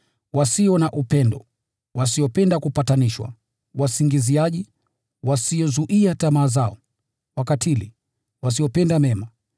wasio na upendo, wasiopenda kupatanishwa, wasingiziaji, wasiozuia tamaa zao, wakatili, wasiopenda mema,